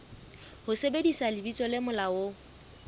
ho sebedisa lebitso le molaong